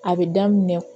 A bɛ daminɛ